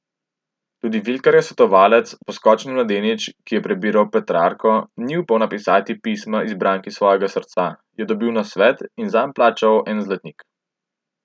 Tudi vikarjev svetovalec, poskočni mladenič, ki je prebiral Petrarko in ni upal napisati pisma izbranki svojega srca, je dobil nasvet, in plačal zanj en zlatnik.